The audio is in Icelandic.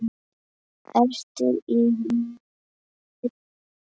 Ertu í liðinu?